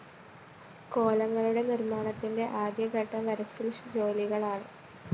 കോലങ്ങളുടെ നിര്‍മ്മാണത്തിന്റെ ആദ്യഘട്ടം വരിച്ചില്‍ ജോലികളാണ്